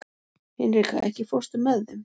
Hinrika, ekki fórstu með þeim?